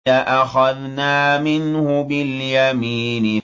لَأَخَذْنَا مِنْهُ بِالْيَمِينِ